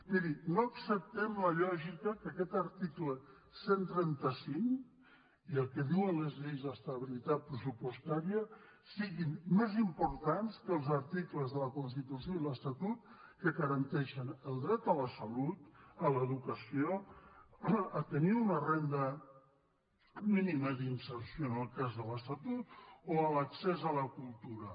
miri no acceptem la lògica que aquest article cent i trenta cinc i el que diuen les lleis d’estabilitat pressupostària siguin més importants que els articles de la constitució i l’estatut que garanteixen el dret a la salut a l’educació a tenir una renda mínima d’inserció en el cas de l’estatut o a l’accés a la cultura